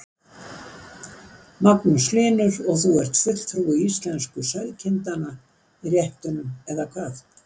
Magnús Hlynur: Og þú ert fulltrúi íslensku sauðkindanna í réttunum eða hvað?